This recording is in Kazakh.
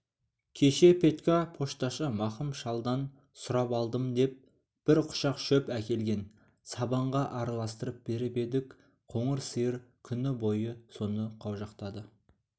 кеше петька пошташы мақым шалдан сұрап алдым деп бір құшақ шөп әкелген сабанға араластырып беріп едік қоңыр сиыр күні бойы соны қаужақтады